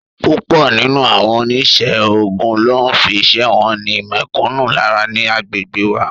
Púpọ̀ nínú àwọn onísẹ́ ogún ló ń fi iṣẹ́ wọn ni mẹ̀kúnnù lára ní agbègbè wa